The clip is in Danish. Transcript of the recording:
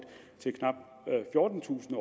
til knap fjortentusind